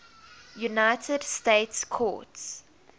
united states courts